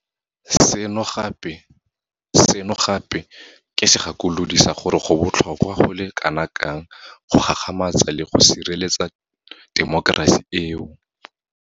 Seno gape ke segakolodi sa gore go botlhokwa go le kanakang go gagamatsa le go sireletsa temokerasi eo.